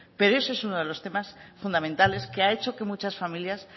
pero ese es uno de los temas fundamentales que ha hecho que muchas familias se